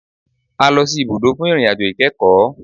A lọ sì ibùdó fún ìrìn àjò ìkẹ́kọ̀.